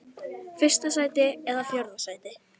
Fyrsta sæti eða fjórða sæti?